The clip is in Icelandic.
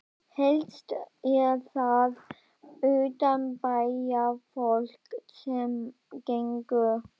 Helst er það utanbæjarfólk sem gengur.